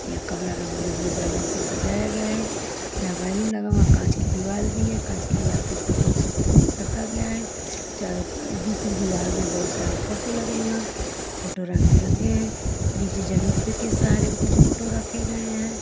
यह कमरा रंग बिरंगे बैलून से सजाया गया है जहां बैलून लगा हुआ कांच की दीवाल भी है कांच की दीवाल के ऊपर कुछ रखा गया है चारों दूसरी दीवाल में बहुत सारे फोटो लगे हुए हैं फोटो रंग बिरंगे हैं नीचे जमीन पे के सहारे भी कुछ फोटो रखे गए हैं।